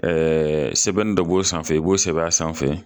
Ɛɛ sɛbɛn dɔ b'o sanfɛ i b'o sɛbɛn a sanfɛ